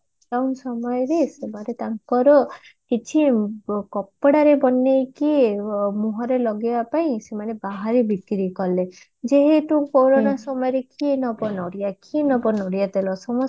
କମ ସମୟରେ ସେମନେ ତାଙ୍କର କିଛି କପଡାର ବନେଇକି ମୁହରେ ଲଗେଇବା ପାଇଁ ସେମାନେ ବାହାରେ ବିକିରି କଲେ ଯେମିତି କୋରୋନ ସମୟରେ କିଏ ନବ ନଡିଆ କିଏ ନବ ନଡିଆ ତେଲ ସମସ୍ତେ